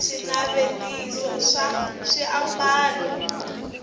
swinavetiso swa swiambalo